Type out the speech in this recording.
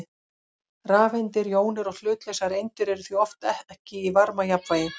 Rafeindir, jónir og hlutlausar eindir eru því oft ekki í varmajafnvægi.